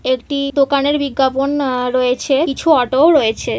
একটি দোকানের বিজ্ঞাপন আ রয়েছে কিছু অটো ও রয়েছে।